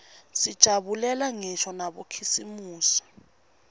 sijabulela ngisho nabokhisimusi